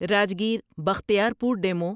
Rajgir Bakhtiyarpur demo